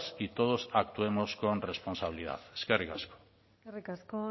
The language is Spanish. y todos actuemos con responsabilidad eskerrik asko eskerrik asko